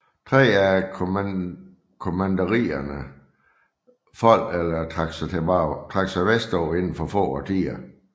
Tre af kommanderierne faldt eller trak sig vestpå inden for få årtier